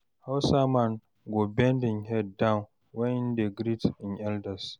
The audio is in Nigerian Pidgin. hausa man go bend him head down wen him dey greet im elders